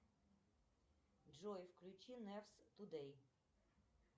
джой включи нефс тудей